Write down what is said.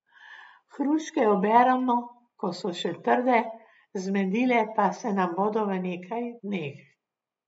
Hruške oberemo, ko so še trde, zmedile pa se nam bodo v nekaj dneh.